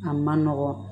A man nɔgɔn